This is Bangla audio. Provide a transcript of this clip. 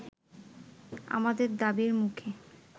আমাদের দাবির মুখে